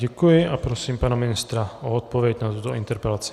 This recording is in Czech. Děkuji a prosím pana ministra o odpověď na tuto interpelaci.